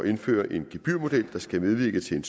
indføre en gebyrmodel der skal medvirke til en